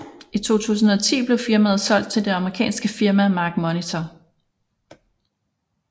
I 2010 blev firmaet solgt til det amerikanske firma MarkMonitor